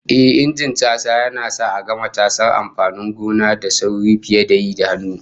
Ehh, Injin casa yana sa a gama cashe amfanin gona da sauri fiye da yi da hannu